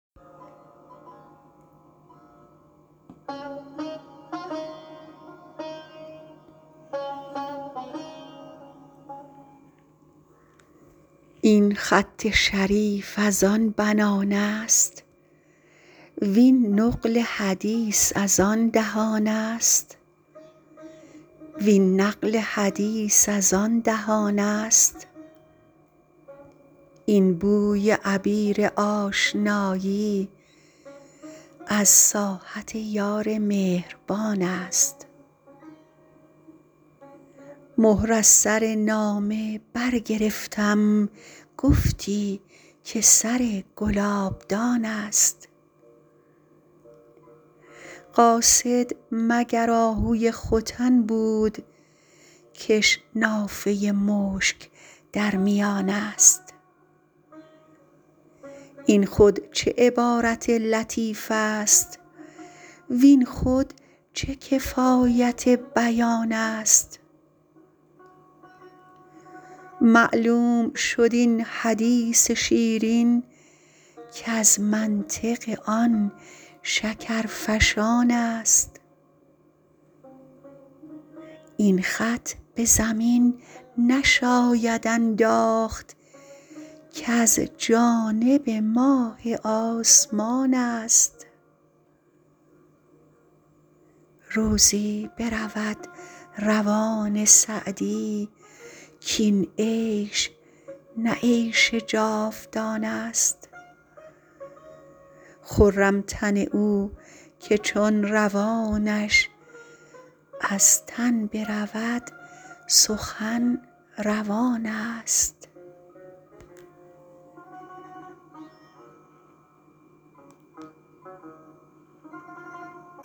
این خط شریف از آن بنان است وین نقل حدیث از آن دهان است این بوی عبیر آشنایی از ساحت یار مهربان است مهر از سر نامه برگرفتم گفتی که سر گلابدان است قاصد مگر آهوی ختن بود کش نافه مشک در میان است این خود چه عبارت لطیف است وین خود چه کفایت بیان است معلوم شد این حدیث شیرین کز منطق آن شکرفشان است این خط به زمین نشاید انداخت کز جانب ماه آسمان است روزی برود روان سعدی کاین عیش نه عیش جاودان است خرم تن او که چون روانش از تن برود سخن روان است